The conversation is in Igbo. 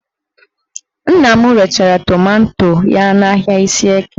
Nna m rechara tomanto ya n'ahịa Ishieke